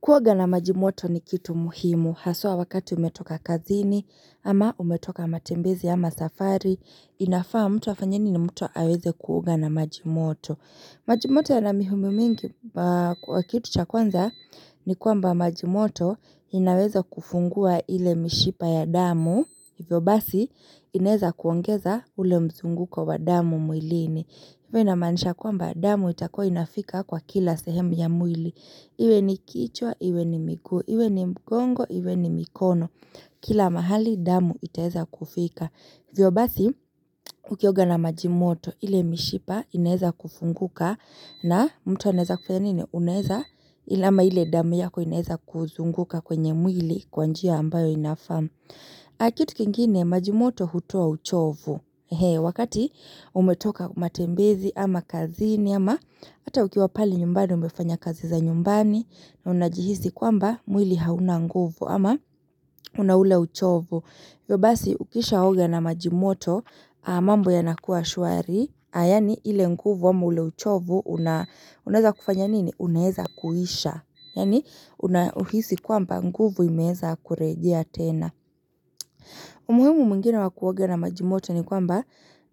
Kuoga na majimoto ni kitu muhimu. Hasua wakati umetoka kazini ama umetoka matembezi ama safari. Inafaa mtu afanye nini mtu aweze kuoga na majimoto. Majimoto yana mihumi mingi kwa kitu cha kwanza ni kuamba majimoto inaweza kufungua ile mishipa ya damu. Hivo basi inaweza kuongeza ule mzunguko wa damu muilini. Iwe namanisha kuamba damu itakua inafika kwa kila sehemu ya muili. Iwe ni kichwa, iwe ni miguu, iwe ni mgongo, iwe ni mikono Kila mahali damu itaeza kufika hivyo basi ukioga na majimoto ile mishipa inaeza kufunguka na mtu aneza kufanya nini uneza ile ama ile damu yako inaeza kuzunguka kwenye mwili kwanjia ambayo inafaa na kitu kingine majimoto hutuo uchovu He, wakati umetoka matembezi ama kazini ama Ata ukiwa pale nyumbani umefanya kazi za nyumbani na unajihisi kwamba mwili hauna nguvu ama una ule uchovu. Yo basi ukishaoga na majimoto mambo yanakuwa shuari. Ayani ile nguvu ama ule uchovu unaheza kufanya nini? Unaeza kuhisha. Yani unahihisi kwamba nguvu imeza kurejea tena. Umuhimu muingine wakuoga na majimoto ni kwamba